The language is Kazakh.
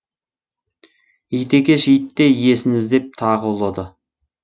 ит екеш итте иесін іздеп тағы ұлыды